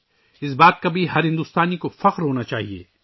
ہر بھارتی کو اس پر بھی فخر ہونا چاہیئے